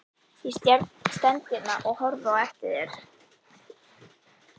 Ég stend hérna og horfi á eftir þér.